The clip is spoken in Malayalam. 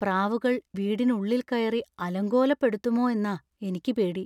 പ്രാവുകൾ വീടിനുള്ളിൽ കയറി അലങ്കോലപ്പെടുത്തുമോ എന്നാ എനിക്ക് പേടി.